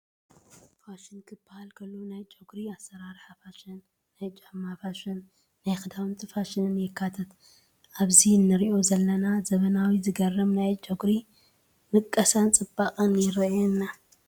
ፋሽን ክባሃል ከሎ ናይ ጨጉሪ ኣሰራርሓ ፋሽን፣ ናይ ጫማ ፋሽን፣ ናይ ክዳውንቲ ፋሽንን የካትት፡፡ ኣብዚ ንሪኦ ዘለና ዘመናዊ ዝገርም ናይ ጨጉሪ ምቀሳን ፅባቐን ይራኣየና፡፡